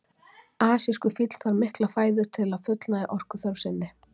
Þessu hefur fylgt landris og þensla á allstóru svæði umhverfis Hrómundartind.